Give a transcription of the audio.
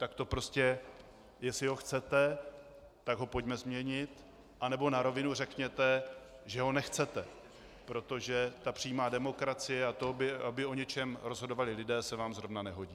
Tak to prostě, jestli ho chcete, tak ho pojďme změnit, nebo na rovinu řekněte, že ho nechcete, protože ta přímá demokracie a to, aby o něčem rozhodovali lidé, se vám zrovna nehodí.